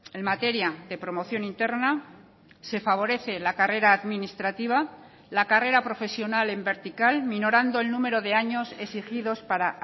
en materia de promoción interna se favorece la carrera administrativa la carrera profesional en vertical minorando el número de años exigidos para